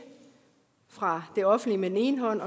fra det offentlige med den ene hånd